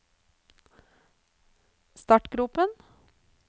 startgropen